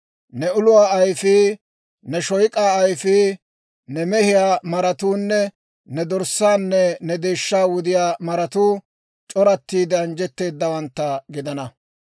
Ne uluwaa ayfii, ne shoyk'aa ayfii, ne mehiyaa maratuunne ne dorssaanne ne deeshshaa wudiyaa maratuu, c'orattiide anjjetteedawantta gidana.